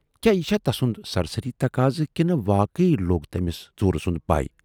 کیاہ یہِ چھا تسُند سرسری تقاضہٕ کِنہٕ واقٕے لوگ تمِٔس ژوٗرٕ سُند پےَ۔